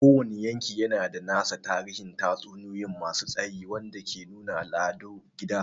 Kowane yanki yana da nasa tarihin tatsuniyoyi masu tsayi wanda ke nuna al'adun gida.